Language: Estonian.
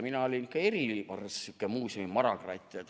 Mina olin kohe eriline sihuke muuseumimarakratt.